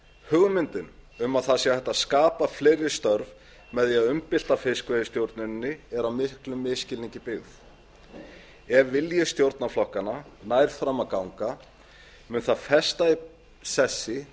hugmyndin um að hægt sé að skapa fleiri störf með því að umbylta fiskveiðistjórninni er á miklum misskilningi byggð ef vilji stjórnarflokkanna nær fram að ganga mun það festa í sessi